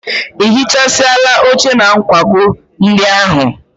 I hichasịala oche na nkwago ndị ahụ?